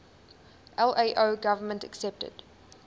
lao government accepted